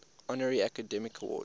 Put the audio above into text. honorary academy award